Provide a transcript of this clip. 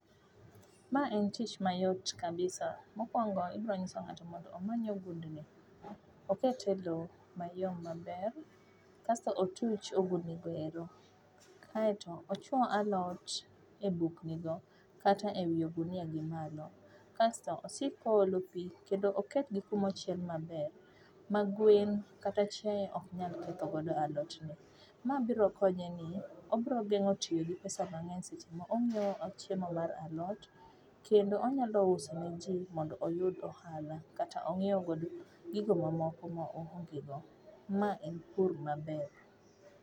Ma en tich mayot kabisa, mokuongo ibro nyiso ng'ato mondo omany ogundni, okete loo mayom maber kasto otuch ogundni goero kasto ochuo alot e bukgi go kata ewi ogunia gi malo, kasto osik koolo pii kendo oketgi kuma ochiel maber ma gwen kata chiaye ok nyal ketho godo alot ni. Ma biro konye ni, obiro gengo tiyo gi pesa mangeny seche monyiew chiemo mar alot kendo onyalo uso ne jii mondo oyud ohala kata ong'iew gigo mamoko ma oonge go .Ma en pur maber